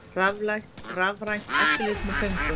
Rafrænt eftirlit með föngum